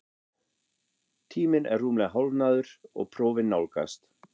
Tíminn er rúmlega hálfnaður og prófin nálgast,